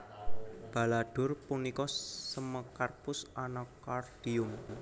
Baladhur punika Semecarpus Anacaardium